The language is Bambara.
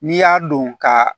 N'i y'a don ka